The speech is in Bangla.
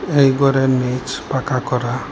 এই ঘরের নীচ পাকা করা।